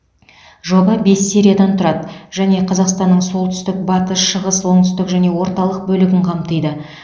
жоба бес сериядан тұрады және қазақстанның солтүстік батыс шығыс оңтүстік және орталық бөлігін қамтиды